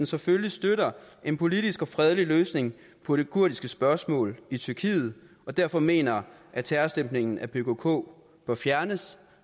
selvfølgelig støtter en politisk og fredelig løsning på det kurdiske spørgsmål i tyrkiet og derfor mener at terrorstemplingen af pkk bør fjernes